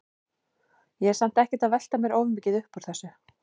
Ég er samt ekkert að velta mér of mikið upp úr þessu.